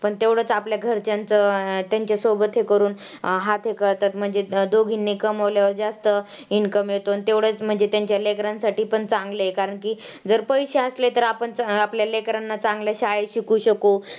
पण तेवढंच आपल्या घरच्यांचं तेंच्यासोबत हे करून अं हे करतात म्हणजे दोघींनी कमावल्यावर जास्त income येतो आणि तेवढेच म्हणजे तेंच्या लेकरांसाठी पण चांगले आहे. कारण की जर पैशे असले तर आपण आपल्या लेकरांना चांगल्या शाळेत शिकवू शकू.